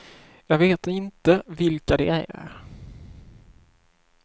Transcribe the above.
Jag vet inte vilka de är.